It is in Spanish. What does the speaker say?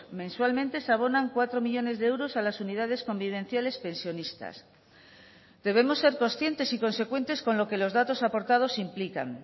mensualmente se abonan cuatro millónes de euros a las unidades convivenciales pensionistas debemos ser conscientes y consecuentes con lo que los datos aportados implican